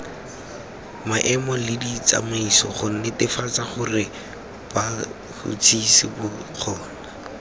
maemoleditsamaiso gonetefatsagorebats huts hisibotlheba kgona